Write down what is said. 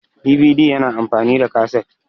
DVD yana amfani da kasit